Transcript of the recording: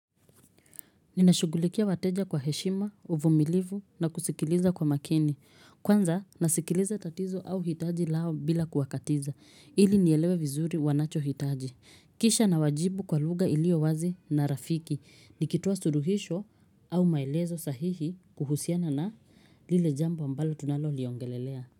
Ninashugulikia wateja kwa heshima, uvumilivu na kusikiliza kwa makini. Kwanza nasikiliza tatizo au hitaji lao bila kuwakatiza. Ili nielewe vizuri wanacho hitaji. Kisha nawajibu kwa lugha iliowazi na rafiki. Nikitoa suluhisho au maelezo sahihi kuhusiana na lile jambo ambalo tunalo liongelelea.